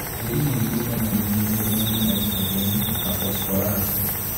Tĩrĩ mũingi kenya nĩũnyihĩirwo nĩ naitrogeni na phosphorasi